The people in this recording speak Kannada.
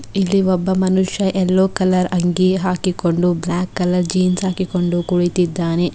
ಇಲ್ಲಿ ಒಬ್ಬ ಮನುಷ್ಯ ಎಲ್ಲೊ ಕಲರ್ ಅಂಗಿ ಹಾಕಿಕೊಂಡು ಬ್ಲಾಕ್ ಕಲರ್ ಜೀನ್ಸ್ ಹಾಕಿಕೊಂಡು ಕುಳಿತಿದ್ದಾನೆ.